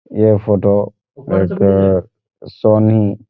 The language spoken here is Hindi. ये फोटो एक सोनी --